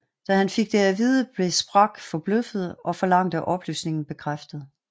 Da han fik det at vide blev Spraque forbløffet og forlangte oplysningen bekræftet